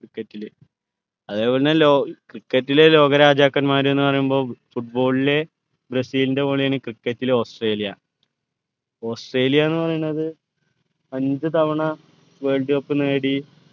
cricket ലെ അതേപോലെതന്നെ ലോ cricket ലെ ലോക രാജാക്കന്മാർ എന്ന് പറയുമ്പോ football ലെ ബ്രസീലിൻ്റെ പോലെയാണ് cricket ലെ ഓസ്ട്രേലിയ ഓസ്ട്രേലിയ എന്ന് പറയുന്നത് അഞ്ച് തവണ world cup നേടി